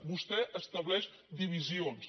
vostè estableix divisions